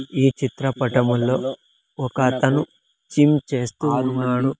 ఈ చిత్రపటములో ఒకతను చిమ్ చేస్తూ ఉన్నాడు.